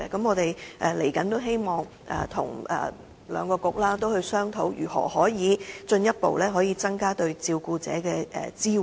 我們希望日後跟兩個政策局商討如何能進一步增加對照顧者的支援。